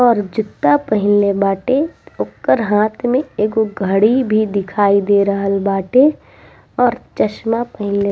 और जुत्ता पहिनले बाटे ओकर हाथ में एगो घड़ी भी दिखाई दे रहल बाटे और चश्मा पहिनले --